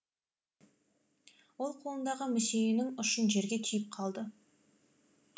ол қолындағы мүсейінің ұшын жерге түйіп қалды